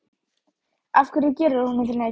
Af hverju gerir hann honum þennan grikk?